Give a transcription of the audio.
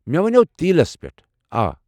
مے٘ ونناو تیلس پیٹھ ، آ۔۔۔